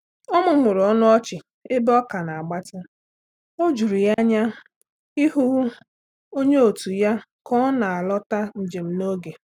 Ọ mụmụrụ ọnụ ọchị ebe ọka n'agbati, ojuru ya anya ịhụ onye òtù ya ka ọ na a lọta njem n'oge